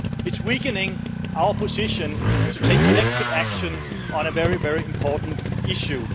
It is weakening our position to take collective action on a very important issue.